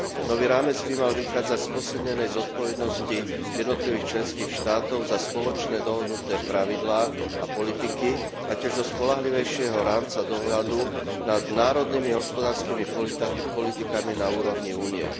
Nový rámec by mal vychádzať z posilnenej zodpovednosti jednotlivých členských štátov za spoločné dohodnuté pravidlá a politiky a tiež zo spoľahlivejšieho rámca dohľadu nad národnými hospodárskymi politikami na úrovni Únie.